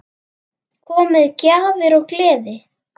Kom með gjafir og gleði.